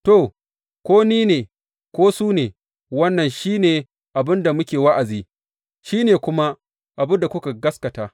To, ko ni ne, ko su ne, wannan shi ne abin da muke wa’azi, shi ne kuma abin da kuka gaskata.